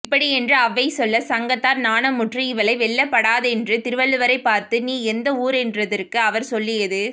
இப்படியென்று ஔவை சொல்ல சங்கத்தார் நாணமுற்று இவளை வெல்லப் படாதென்று திருவள்ளுவரைப் பார்த்து நீர் எந்த வூரென்றதற்கு அவர் சொல்லியது